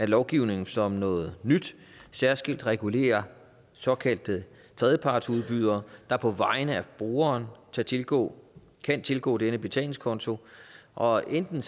lovgivningen som noget nyt særskilt regulerer såkaldte tredjepartsudbydere der på vegne af brugeren kan tilgå kan tilgå dennes betalingskonto og enten